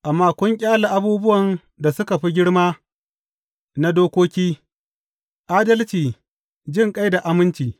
Amma kun ƙyale abubuwan da suka fi girma na dokoki, adalci, jinƙai da aminci.